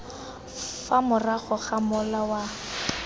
fa morago ga mola wa